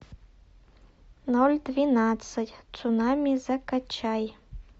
ноль двенадцать цунами закачай